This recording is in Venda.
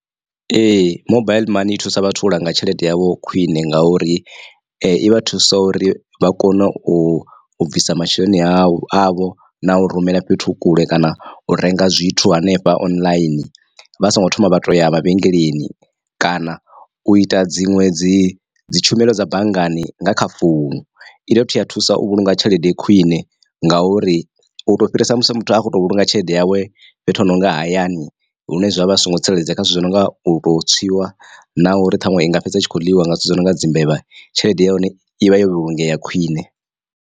Ee mobaiḽi money i thusa vhathu u langa tshelede yavho khwiṋe nga uri i vha thusa uri vha kone u bvisa masheleni avho avho na u rumela fhethu kule kana u renga zwithu hanefha online vha songo thoma vha to ya mavhengeleni kana u ita dziṅwe dzi dzi tshumelo dza banngani nga kha founu. I dovha futhi ya thusa u vhulunga tshelede khwiṋe nga uri u to u fhirisa musi muthu a khoto vhulunga tshelede yawe fhethu hononga hayani lune zwa vha zwi songo tsireledzea kha zwithu zwi no nga u to tswiwa na uri ṱhaṅwe i nga fhedza itshi kho ḽiwa nga zwithu zwo no nga dzi mbevha tshelede ya hone ivha yo vhulungea khwiṋe.